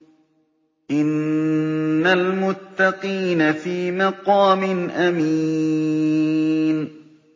إِنَّ الْمُتَّقِينَ فِي مَقَامٍ أَمِينٍ